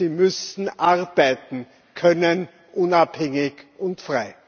Sie müssen arbeiten können, unabhängig und frei.